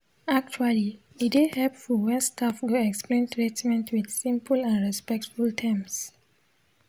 actually e dey hepful wen staf go explain treatment with simple and respectful terms.